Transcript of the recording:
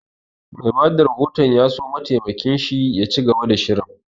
Mai bada rahoton ya so mataimakin shi ya ci gaba da shirin